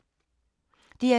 DR2